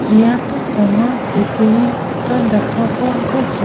ইয়াত ডাঙৰ পুখুৰী এটা দেখা পোৱা গৈছে।